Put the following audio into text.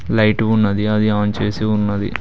Light ఉన్నది అది on చేసి ఉన్నది.